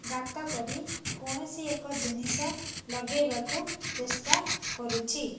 ଗାତ କରି କୌଣସି ଏକ ଜିନିଷ ଲଗେଇବାକୁ ଚେଷ୍ଟା କରୁଚି ।